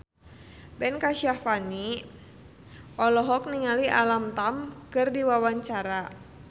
Ben Kasyafani olohok ningali Alam Tam keur diwawancara